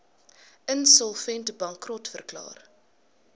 insolvent bankrot verklaar